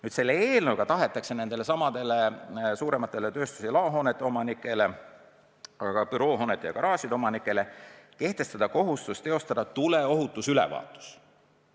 Nüüd tahetakse nendele suuremate tööstus- ja laohoonete omanikele, aga ka büroohoonete ja garaažide omanikele kehtestada kohustus teostada tuleohutusülevaatus.